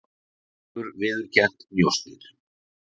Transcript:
Hefur viðurkennt njósnir